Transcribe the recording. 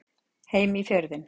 Heim í Fjörðinn.